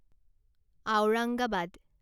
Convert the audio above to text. Aurangabad